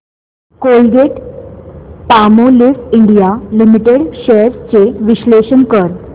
Colgate Palmolive India limited shares चे विश्लेषण कर